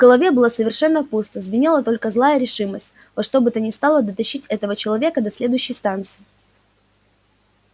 в голове было совершенно пусто звенела только злая решимость во что бы то ни стало дотащить этого человека до следующей станции